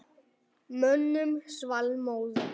Mönnum svall móður.